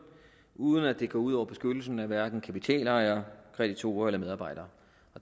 uden at det går ud over beskyttelsen af hverken kapitalejere kreditorer eller medarbejdere